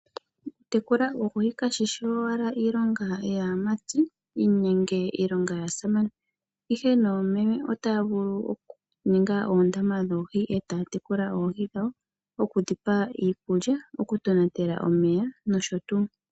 Okutekula oohi kashishi owala iilonga yaamati nenge iilonga yaasamane, ihe noomeme otaya vulu oku ninga oondama dhoohi etaya tekula oohi dhawo oku dhipa iikulya ,oku tonatela omeya nosho tuu.